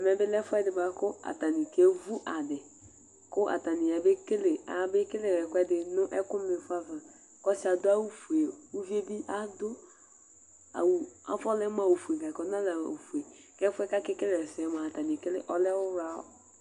Ɛvɛ bɩ lɛ ɛfʋɛdɩ bʋakʋ atanɩ akevʋ adi Kʋ atanɩ aya bekele ɛkʋɛdɩ nʋ ɛkʋmaɩfɔ ava Kʋ ɔsɩ yɛ adʋ awʋfue, uvi yɛ bɩ adʋ awʋ dɩ bʋakʋ afɔlɛ mʋ ofue Ɛfʋyɛ kʋ atanɩ aka ekele ɛsɛ yɛ mʋa ɔlɛ ɔwla